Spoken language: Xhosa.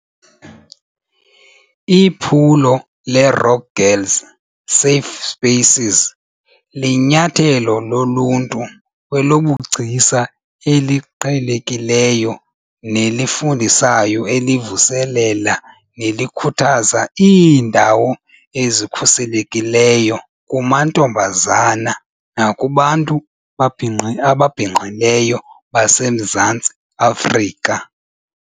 Iphulo leRock Girl "Safe Spaces" linyathelo loluntu kwezobugcisa eliqhelekileyo nelifundisayo elivuselela nelikhuthaza iindawo ezikhuselekileyo kumantombazana nakubantu babhinqi ababhinqileyo abaseMzantsi Afrika.